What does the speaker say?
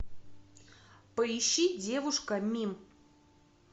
поищи девушка мим